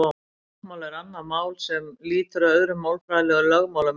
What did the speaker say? Táknmál er annað mál sem lýtur öðrum málfræðilegum lögmálum en íslenskan.